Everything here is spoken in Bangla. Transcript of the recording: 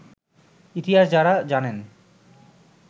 ইতিহাস যাঁরা জানেন